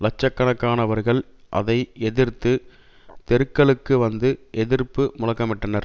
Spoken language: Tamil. லட்சக்கணக்கானவர்கள் அதை எதிர்த்து தெருக்களுக்குவந்து எதிர்ப்பு முழக்கமிட்டனர்